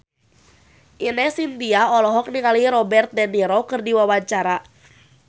Ine Shintya olohok ningali Robert de Niro keur diwawancara